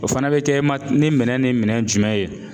O fana bɛ kɛ ma ni minɛn ni minɛn jumɛn ye?